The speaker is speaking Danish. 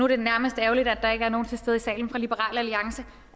det nærmest ærgerligt at det ikke er nogen til stede i salen fra liberal alliance